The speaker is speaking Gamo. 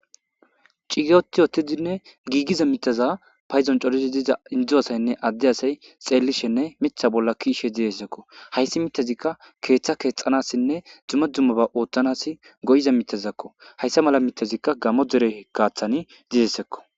cigiyoti ottidinne giigiza miteza payzon colisi diza indzu asaynne adde asay xeellishenne mitha bolla kiishe didessekko hayssi mitezikka keeththa keexanassinne dumma dummaba ooththanas goyiza mitezakko hayssa mala mitezikka gamo dere kaaththani didessekko